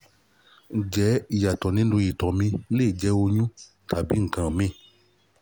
ǹjẹ́ ìyàtọ̀ nínú ìtọ̀ mi le jẹ́ oyún tàbí nǹkan míìn?